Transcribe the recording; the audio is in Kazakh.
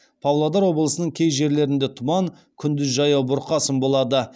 павлодар облысының кей жерлерінде тұман күндіз жаяу бұрқасын болады